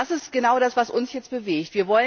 Und das ist genau das, was uns jetzt bewegt.